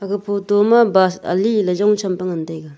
aga photo ma bus ali le jong champe ngan taiga.